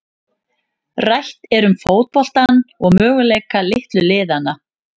Rætt er um fótboltann og möguleika litlu liðanna.